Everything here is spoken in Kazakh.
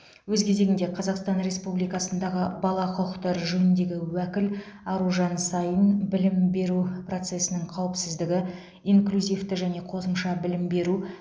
өз кезегінде қазақстан республикасындағы бала құқықтары жөніндегі уәкіл аружан саин білім беру процесінің қауіпсіздігі инклюзивті және қосымша білім беру